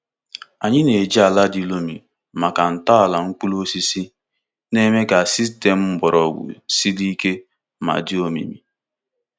Anyị na-eji ala di loamy maka ntọala mkpụrụ osisi, na-eme ka sistemu mgbọrọgwụ siri ike ma dị omimi.